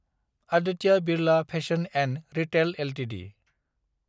Aditya Birla fashion & retail Ltd